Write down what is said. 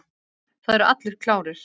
Það eru allir klárir.